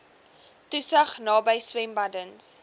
toesig naby swembaddens